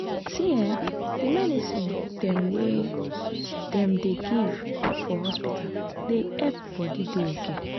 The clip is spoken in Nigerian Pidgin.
see eh the medicine dem wey dem dey give for hospita dey epp body dey ok